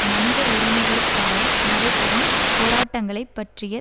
மனித உரிமைகளுக்காக நடைபெறும் போராட்டங்களைப் பற்றிய